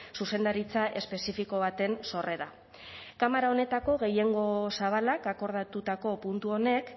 zuzendaritza espezifiko baten sorrera kamara honetako gehiengo zabalak akordatutako puntu honek